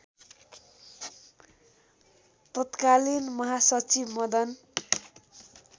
तत्कालीन महासचिव मदन